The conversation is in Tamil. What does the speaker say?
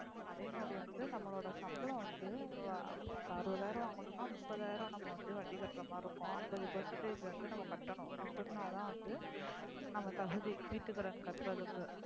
அதே மாரி வந்து நம்மளோட சம்பளம் வந்து அறுபதுஆய்ரம் வாங்கினம்முனா முப்பது ஆய்ரம் நம்ம வந்து வட்டி கட்ற்றமரி இருக்கும் அம்பது percentage வந்து நம்ம கட்டனும். அப்டினாதான் வந்து நம்ம தகுதி வீட்டு கட்றதுக்கு.